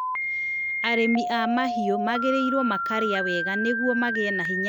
Arĩmi a mahiũ magĩrĩirwo makarĩa wega nĩguo magĩe na hinya wa kũramata mahiũ.